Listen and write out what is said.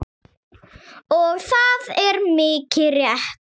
Og það er mikið rétt.